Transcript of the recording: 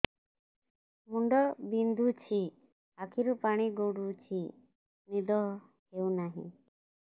ମୁଣ୍ଡ ବିନ୍ଧୁଛି ଆଖିରୁ ପାଣି ଗଡୁଛି ନିଦ ହେଉନାହିଁ